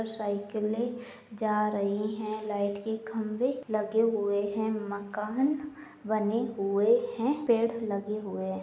और साइकिले जा रही है। लाइट के खंभे लगे हुए हैं। मकान बने हुए हैं। पेड़ लगे हुए हैं।